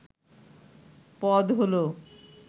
পদ হলো